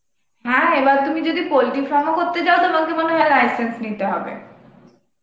হ্যাঁ এবার তুমি যদি poultry farm ও করতে চাও তোমাকে মনেহয় license নিতে হবে